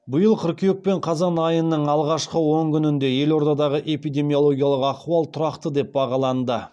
биыл кыркүйек пен қазан айының алғашқы он күнінде елордадағы эпидемиологиялық ахуал тұрақты деп бағаланды